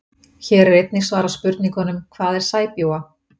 Hér er einnig svarað spurningunum: Hvað er sæbjúga?